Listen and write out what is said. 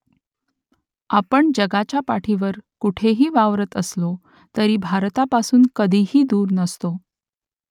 आपण जगाच्या पाठीवर कुठेही वावरत असलो तरी भारतापासून कधीही दूर नसतो